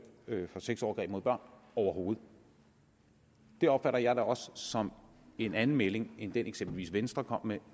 dømt for sexovergreb mod børn overhovedet det opfatter jeg da også som en anden melding end den eksempelvis venstre kom med